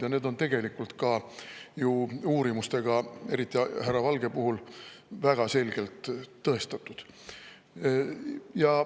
Ja need on tegelikult ka ju uurimustega, eriti härra Valge puhul, väga selgelt tõestatud.